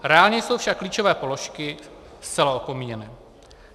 Reálně jsou však klíčové položky zcela opomíjeny.